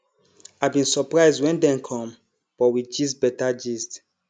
i bin surprise when dem com but we gist beta gist